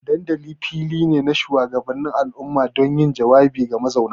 Dandalin fili ne na shugabannin al'umma don yin jawabi ga mazauna.